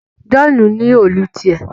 John ní Òòlù tiẹ